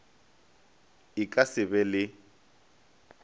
e ka se be le